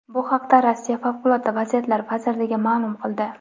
Bu haqda Rossiya Favqulodda vaziyatlar vazirligi ma’lum qildi .